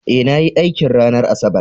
Eh nayi aikin ranar asabar